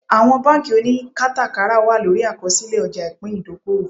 Àwọn bánkì oníkátàkárà wà lórí àkọsílẹ̀ ọjà ìpín ìdókòwò